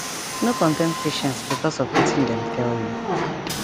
sum pipu go pray kon still take um medicine to well